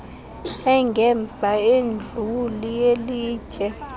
engemva induli yelitye